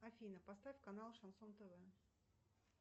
афина поставь канал шансон тв